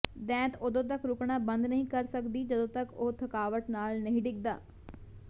ਦੈਂਤ ਉਦੋਂ ਤੱਕ ਰੁਕਣਾ ਬੰਦ ਨਹੀਂ ਕਰ ਸਕਦੀ ਜਦੋਂ ਤਕ ਉਹ ਥਕਾਵਟ ਨਾਲ ਨਹੀਂ ਡਿੱਗਦਾ